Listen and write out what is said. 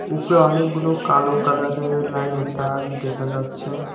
উপরে অনেকগুলো কালো কালারের লাইনের তার দেখা যাচ্ছে।